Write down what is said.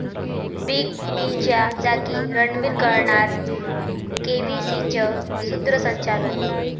big बीच्या जागी रणबीर करणार केबीसीचं सूत्रसंचालन